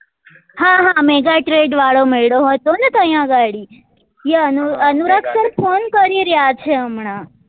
હા હા mega trade વાળો મેળો હતો ને ત્યાં ઘડી એ અનુરાગ અનુરાગ sir phone કરી રહ્યા છે હમણાં